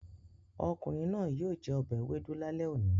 Ọ̀kùnrin náà yíò jẹ obẹ̀ èwédú làlé ọ̀ní.